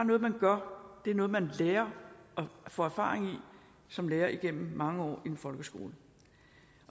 noget man gør det er noget man lærer og får erfaring i som lærer igennem mange år i en folkeskole